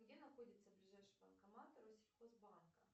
где находится ближайший банкомат россельхозбанка